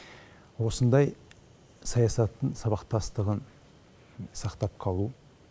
осындай саясаттың сабақтастығын сақтап қалу